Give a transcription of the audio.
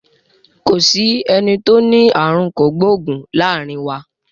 Kò sí eni tó ní àrùn kògbóògùn láàrin wa.